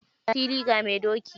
Ga fili, ga mai doki.